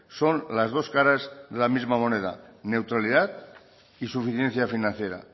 son las dos caras de la misma moneda neutralidad y suficiencia financiera